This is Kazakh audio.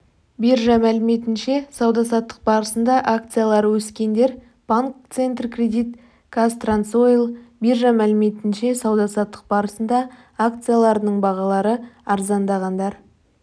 биржа мәліметінше сауда-саттық барысында акциялары өскендер банк центркредит қазтрансойл биржа мәліметінше сауда-саттық барысында акцияларының бағалары арзандағандар